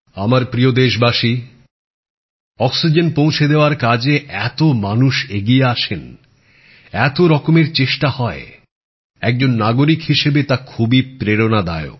আমার প্রিয় দেশবাসী অক্সিজেন পৌঁছে দেওয়ার কাজে এত মানুষ এগিয়ে আসেন এত রকমের চেষ্টা হয় একজন নাগরিক হিসেবে তা খুবই প্রেরণাদায়ক